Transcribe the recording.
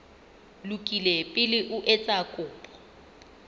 lokile pele o etsa kopo